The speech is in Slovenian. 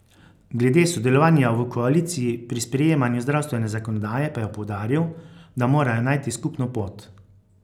Glede sodelovanja v koaliciji pri sprejemanju zdravstvene zakonodaje pa je poudaril, da morajo najti skupno pot.